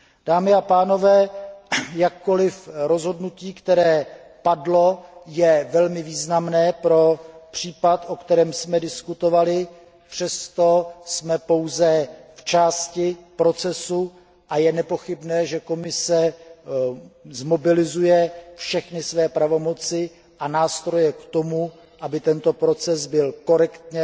Dámy a pánové, jakkoli rozhodnutí, které padlo, je velmi významné pro případ, o kterém jsme diskutovali, jsme nicméně pouze v polovině procesu a je nepochybné, že Komise zmobilizuje všechny své pravomoci a nástroje k tomu, aby tento proces byl korektně